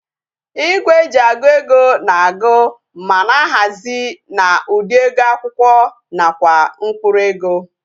Igwe eji agụ ego na agu ma na-ahazi na ụdị ego akwụkwọ nakwa mkpụrụ ego